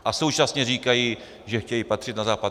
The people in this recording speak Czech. A současně říkají, že chtějí patřit na Západ.